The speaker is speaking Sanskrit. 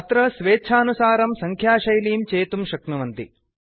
अत्र स्वेच्छानुसारं सङ्ख्याशैलीं चेतुं शक्नुवन्ति